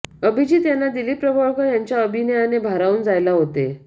अभिजित यांना दिलीप प्रभावळकर यांच्या अभिनयाने भारावून जायला होते